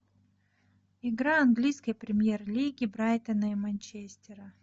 игра английской премьер лиги брайтона и манчестера